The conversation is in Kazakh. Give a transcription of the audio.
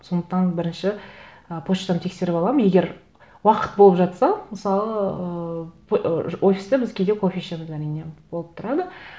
сондықтан бірінші ы почтаны тексеріп аламын егер уақыт болып жатса мысалы ыыы офиста біз кейде кофе ішеміз әрине болып тұрады